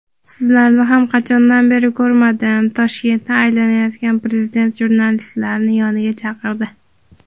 "Sizlarni ham qachondan beri ko‘rmadim" – Toshkentni aylanayotgan prezident jurnalistlarni yoniga chaqirdi.